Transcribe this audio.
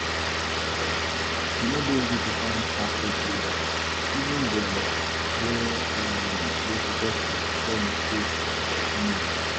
E no easy to find perfect leaders; even dem wey um dey successful get mistakes. um